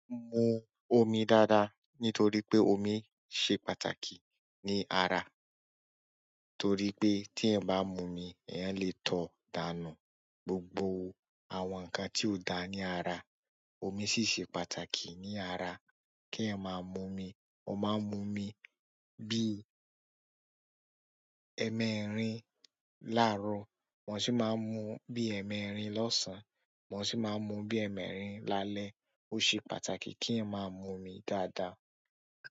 Mu omi dáadáa nítorí pé omi ṣe pàtàkì ní ara. Torí pé tí ẹ bá mu omi, ẹ yẹn lè tó dànù gbogbo àwọn nǹkan tí ò dá ní ara. Omi sì ṣe pàtàkì ní ara kí ẹ máa mu omi. Mo máa mu omi bí ẹ́mẹrin láárọ̀, wọ́n sì máa mu bí ẹ́ẹ̀mẹrin lọ́sàn-án, wọ́n sì máa mu bí ẹ́ẹ̀mẹrin lálẹ́. Ó ṣe pàtàkì kí ẹ máa mu omi dáadáa.